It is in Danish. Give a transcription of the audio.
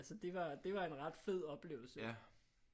Altså det var det var en ret fed oplevelse